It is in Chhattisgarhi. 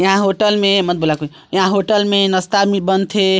यहाँ होटल में मत बुला कोई यहाँ होटल में नास्ता भी बन थे।